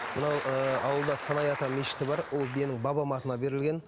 мынау ы ауылда санай ата мешіті бар ол менің бабамның атына берілген